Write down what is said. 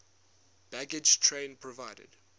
baggage train provided